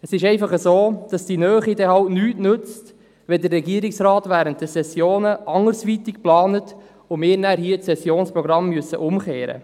Die Nähe nützt allerdings nichts, wenn der Regierungsrat während den Sessionen anderweitig plant und wir hier das Sessionsprogramm umstellen müssen.